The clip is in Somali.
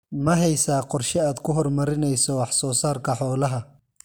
Ma haysaa qorshe aad ku horumarinayso wax soo saarka xoolaha?